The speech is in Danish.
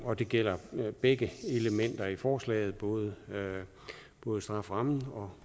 og det gælder begge elementer i forslaget både både strafferammen og